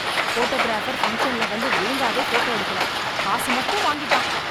Photographer பங்ஷன்ல வந்து ஒழுங்காவே போட்டோ எடுக்கல. காசு மட்டும் வாங்கிட்டான்.